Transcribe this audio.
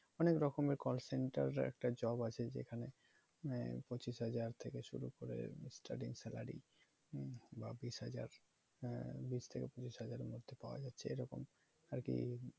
অনেক রকমের call center এর একটা job আছে যেখানে মানে পঁচিশ হাজার থেকে শুরু করে starting salary বা বিশ হাজার হ্যাঁ বিশ হাজারের মধ্যে পাওয়া যাচ্ছে এরকম আর কি